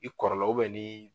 I kɔrɔla ni.